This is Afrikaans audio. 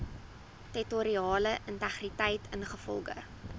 territoriale integriteit ingevolge